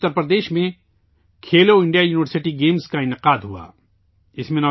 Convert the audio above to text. جیسے ابھی اتر پردیش میں کھیلو انڈیا یونیورسٹی گیمز کا انعقاد ہوا